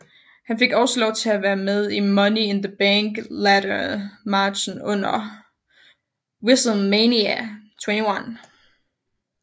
Han fik også lov til at være med i Money in the Bank Ladder Matchen under WrestleMania 21